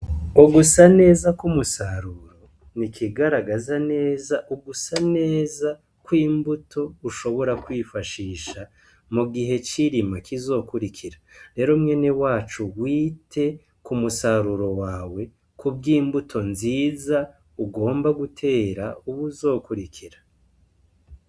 Ugusa neza k'umusaruro ni ikigaragaza neza ugusa neza ko imbuto ushobora kwifashisha mu gihe cirima kizokurikira rero mwene wacu uwite ku musaruro wawe ku bwo imbuto nziza ugomba gutera, ubu uzokurikira.